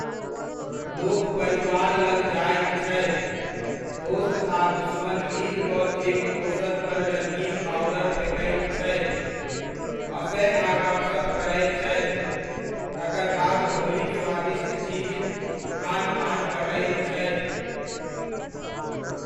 लोक परिवार लग जायत छथि, दोस्त आ दुश्मन मिल कऽ एक दोसर पर रङ्गीन पाउडर फेकैत छथि, हँसय आ गपसप करय छथि, तकर बाद होलीक स्वादिष्ट चीज, खान पान बँटैत छथि।